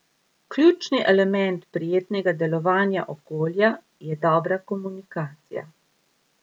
Ključni element prijetnega delovnega okolja je dobra komunikacija.